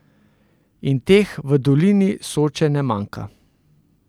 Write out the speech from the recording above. In teh v Dolini Soče ne manjka.